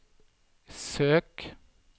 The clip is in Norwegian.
søk